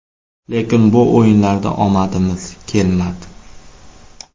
Lekin bu o‘yinlarda omadimiz kelmadi.